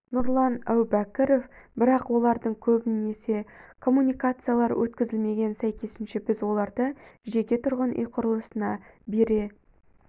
нұрлан әубәкіров бірақ олардың көбісіне коммуникациялар өткізілмеген сәйкесінше біз оларды жеке тұрғын үй құрылысына бере